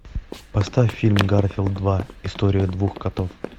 поставь фильм гарфилд два история двух котов